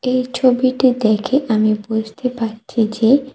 এই ছবিটি দেখে আমি বুঝতে পারছি যে--